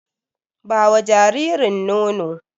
Ba wa jaririn nono!